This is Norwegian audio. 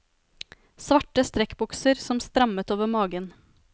Svarte strekkbukser som strammet over magen.